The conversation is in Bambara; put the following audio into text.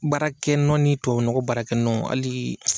Baarakɛnɔ ni tuwawyu nɔgɔ baarakɛnɔ hali